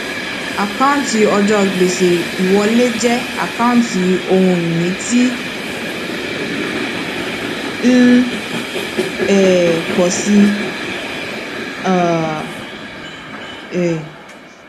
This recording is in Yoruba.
àkáǹtí ọjọ gbèsè ìwọlé jẹ àkáǹtí ohun ìní tí ń um pọ sí um i